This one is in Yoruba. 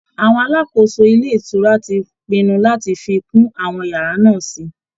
Àwọn alákòóso ilé ìtura ti pinnu láti fi kún àwọn yàrá náà sí i